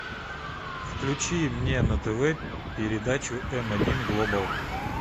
включи мне на тв передачу м один глобал